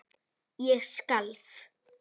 Ég skalf.